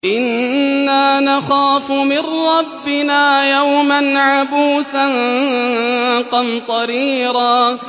إِنَّا نَخَافُ مِن رَّبِّنَا يَوْمًا عَبُوسًا قَمْطَرِيرًا